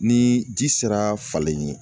Ni ji sera falen ye